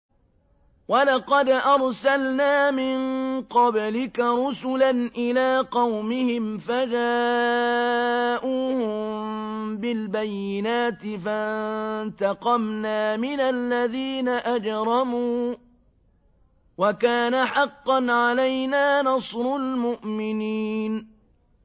وَلَقَدْ أَرْسَلْنَا مِن قَبْلِكَ رُسُلًا إِلَىٰ قَوْمِهِمْ فَجَاءُوهُم بِالْبَيِّنَاتِ فَانتَقَمْنَا مِنَ الَّذِينَ أَجْرَمُوا ۖ وَكَانَ حَقًّا عَلَيْنَا نَصْرُ الْمُؤْمِنِينَ